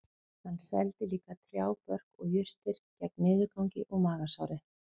Hann seldi líka trjábörk og jurtir gegn niðurgangi og magasári